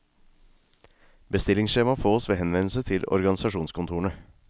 Bestillingsskjema fås ved henvendelse til organisasjonskontorene.